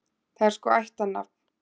Það er sko ættarnafn.